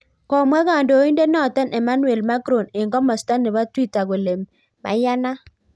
Komwa kandoindet notok Emmanuel Macron eng komasta nebo Twitter kole meyanat